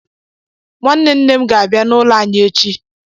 Nwanne nnem ga-abia n'ụlọ anyị echi